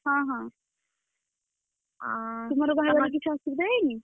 ହଁହଁ, ତୁମର କିଛି ବାହାଘର ରେ ଅସୁବିଧା ହେଇନି?